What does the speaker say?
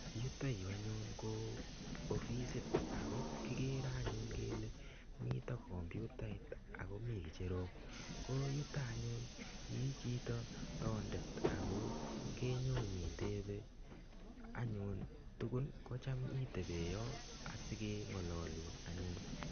yutoyu anyun ko ofisit ako kigere kele mitei komputait ak komi ngecherok ko yuta i chito toondet ako kenyo chito nyitebei tuguk ke tebei yuto asikengalolun